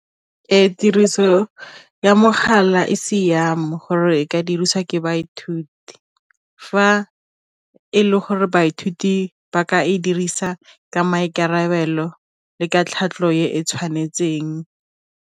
Ee, tiriso ya mogala e siame gore e ka diriswa ke baithuti, fa e le gore baithuti ba ka e dirisa ka maikarabelo le ka tlhatlho e e tshwanetseng.